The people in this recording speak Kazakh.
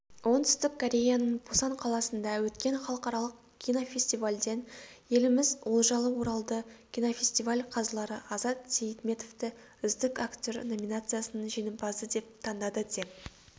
оңтүстік кореяның пусан қаласында өткен халықаралық кинофестивальден еліміз олжалы оралды кинофестиваль қазылары азат сейітметовті үздік актер номинациясының жеңімпазы деп таңдады деп